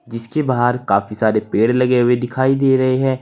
जिसके बाहर काफी सारे पेड़ लगे हुए दिखाई दे रहे हैं।